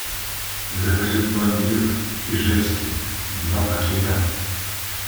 закажи пломбир ижевский два пакета